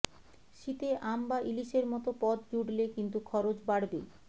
শীতে আম বা ইলিশের মতো পদ জুড়লে কিন্তু খরচ বাড়বে